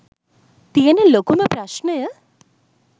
තියෙන ලොකුම ප්‍රශ්නය.